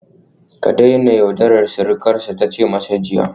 Ka daina yaudarar surukarsa ta ce masa jiya